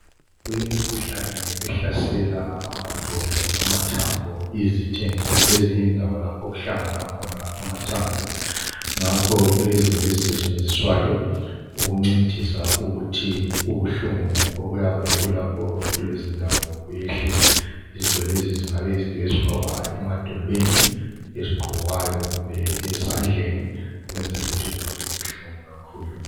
Kulemikhuhlane ehlasela amadolo amathambo izithende lezinye indawo lapho okuhlangana khona amathambo ,ngakho kulezinto ezisetsenziswayo ukuncedisa ukuthi ubuhlungu obuyabe bulapho kulezindawo buyehle izinto lezi zingabe yizinto ezifakwa emadolweni ezigqokwayo kumbe esandleni ukwenzela ukuthi kungabi buhlungu kakhulu.